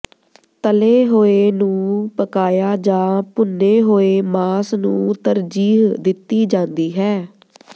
ਤਲੇ ਹੋਏ ਨੂੰ ਪਕਾਇਆ ਜਾਂ ਭੁੰਨੇ ਹੋਏ ਮਾਸ ਨੂੰ ਤਰਜੀਹ ਦਿੱਤੀ ਜਾਂਦੀ ਹੈ